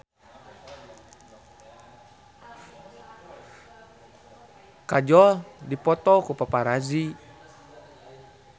Kajol dipoto ku paparazi